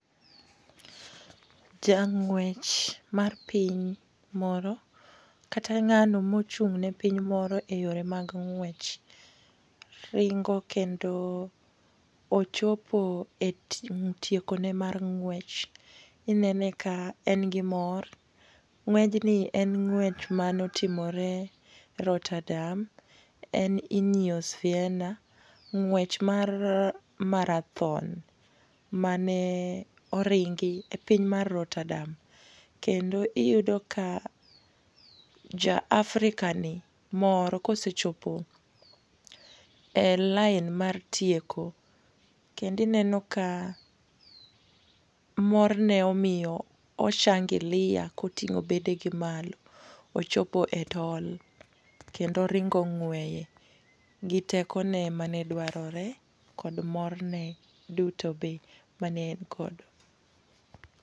Ja ng'uech mar piny moro kata ng'ano mochung'ne piny moro e yore mag ng'wech ringo kendo ochopo e tiekone mar ng'uech. Inene ka en gi mor.Ng'uejni en ng'uech manotimore Rotterdam en Eusphenia.Ng'uech mar marathon mane oringi e piny mar Rotterdam kendo iyudo ka jaafrikani mor kosechopo e lain mar tieko kendo ineno ka morne omiyo o shangilia koting'o bedege malo. Ochopo e tol kendo oringo ng'weye gi tekone manedwarore kod morne duto be mane en kodo.